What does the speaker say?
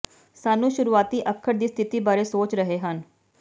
ਸਾਨੂੰ ਸ਼ੁਰੂਆਤੀ ਅੱਖਰ ਦੀ ਸਥਿਤੀ ਬਾਰੇ ਸੋਚ ਰਹੇ ਹਨ